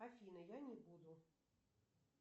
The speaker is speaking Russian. афина я не буду